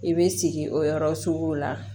I bɛ sigi o yɔrɔ sugu la